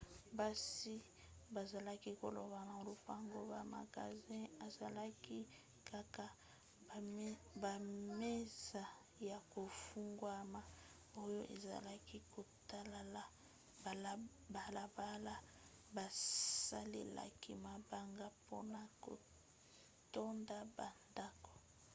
basi bazalaki kolamba na lopango; ba magasins ezalaki kaka bamesa ya kofungwama oyo ezalaki kotala balabala. basalelaki mabanga mpona kotonda bandako